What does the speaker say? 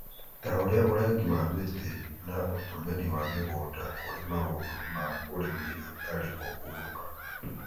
ta ũrĩa ũrengi wa mĩtĩ na ũtũmĩri wa mĩgũnda kũrĩ maũndũ ma ũrĩmi hatarĩ kũhurũka,